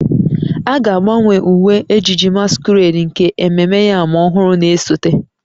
A ga-agbanwe uwe ejiji masquerade nke ememme yam ọhụrụ na-esote